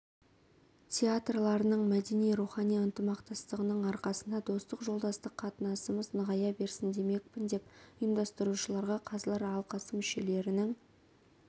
театрларының мәдени-рухани ынтымақтастығының арқасында достық жолдастық қатынасымыз нығая берсін демекпін деп ұйымдастырушыларға қазылар алқасы мүшелерінің